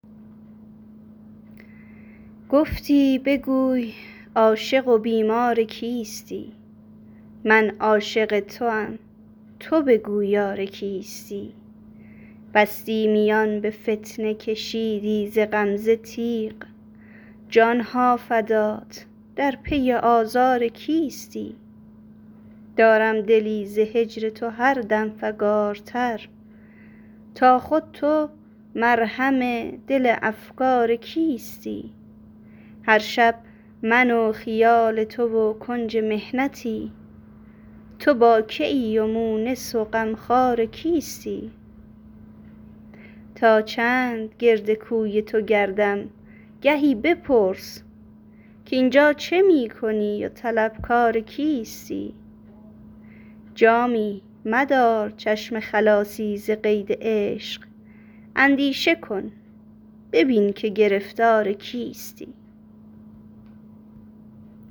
گفتی بگوی عاشق و بیمار کیستی من عاشق توام تو بگو یار کیستی بستی میان به فتنه کشیدی ز غمزه تیغ جانم فدات در پی آزار کیستی دارم دلی ز هجر تو هر دم فگارتر تا خود تو مرهم دل افگار کیستی هر شب من و خیال تو و کنج محنتی تو با که ای و مونس و غمخوار کیستی تا چند گرد کوی تو گردم گهی بپرس کاین جا چه می کنی و طلبکار کیستی جامی مدار چشم خلاصی ز قید عشق اندیشه کن ببین که گرفتار کیستی